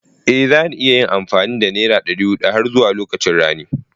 Ée zani iya yin amfani da nera ɗari huɗu har zuwa lokacin rani